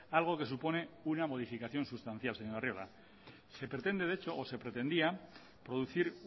algo que supone una modificación sustancial señor arriola se pretende de hecho o se pretendía producir